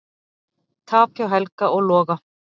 Tap hjá Helga og Loga